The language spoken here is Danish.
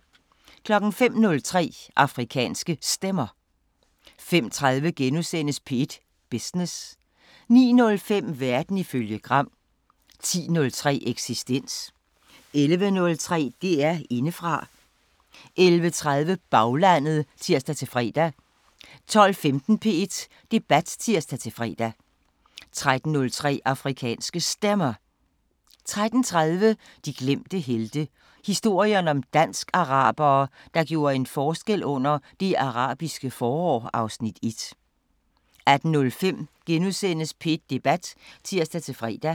05:03: Afrikanske Stemmer 05:30: P1 Business * 09:05: Verden ifølge Gram 10:03: Eksistens 11:03: DR Indefra 11:30: Baglandet (tir-fre) 12:15: P1 Debat (tir-fre) 13:03: Afrikanske Stemmer 13:30: De glemte helte – historien om dansk-arabere, der gjorde en forskel under Det Arabiske forår (Afs. 1) 18:05: P1 Debat *(tir-fre)